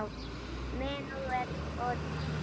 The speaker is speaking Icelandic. Menúett og tríó